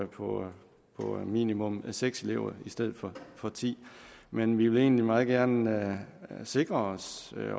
på minimum seks elever i stedet for ti men vi vil egentlig meget gerne sikre os